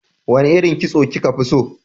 Wane irin kitso kika fi so?